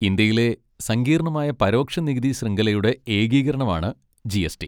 ഇന്ത്യയിലെ സങ്കീർണ്ണമായ പരോക്ഷ നികുതി ശൃംഖലയുടെ ഏകീകരണമാണ് ജി. എസ്. റ്റി.